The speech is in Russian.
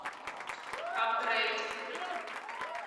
апгрейд